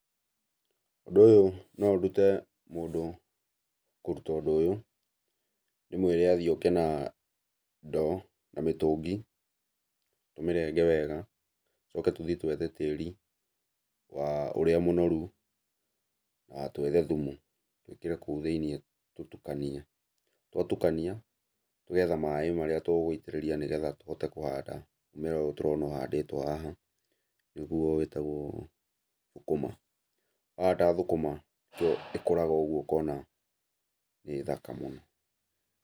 Ũndũ ũyũ no ndute mũndũ kũruta ũndũ ũyũ, ndĩmwĩre athiĩ oke na ndoo na mĩtũngi, tũmĩrenge wega, tũcoke tũthiĩ twethe tĩri wa ũrĩa mũnoru na twethe thum,u twĩkĩre kũu thĩiniĩ tũtũkanie. Twatukania, ũgetha maĩ marĩa tũgũitĩrĩria nĩgetha tũhote kũhanda mũmera ũyũ tũrona ũhandĩtwo haha, nĩguo wĩtagũo thũkũma. Twahanda thũkũma ĩkũraga ũguo ũkona ĩ thaka mũno.